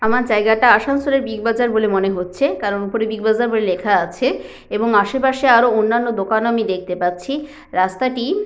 আমার জায়গাটা আসানসোলের বিগ বাজার বলে মনে হচ্ছে কারণ ওপরে বিগ বাজার বলে লেখা আছে এবং আসেপাশে আরও অন্যান্য দোকান আমি দেখতে পাচ্ছি । রাস্তাটি --